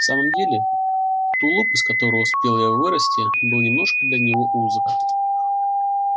в самом деле тулуп из которого успел и я вырасти был немножко для него узок